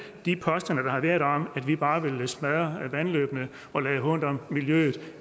de påstande der har været om at vi bare vil smadre vandløbene og lade hånt om miljøet